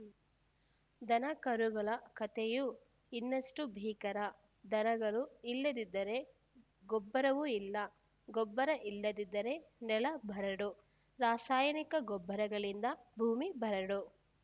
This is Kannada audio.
ದನಕರುಗಳ ಕತೆಯೂ ಇನ್ನಷ್ಟುಬೀಕರ ದನಗಳು ಇಲ್ಲದಿದ್ದರೆ ಗೊಬ್ಬರವೂ ಇಲ್ಲ ಗೊಬ್ಬರ ಇಲ್ಲದಿದ್ದರೆ ನೆಲ ಬರಡು ರಾಸಾಯನಿಕ ಗೊಬ್ಬರಗಳಿಂದ ಭೂಮಿ ಬರಡು